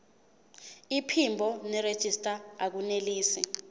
iphimbo nerejista akunelisi